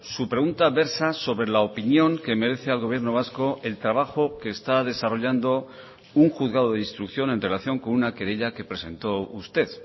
su pregunta versa sobre la opinión que merece al gobierno vasco el trabajo que está desarrollando un juzgado de instrucción en relación con una querella que presentó usted